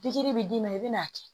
Pikiri bi d'i ma i bɛn'a kɛ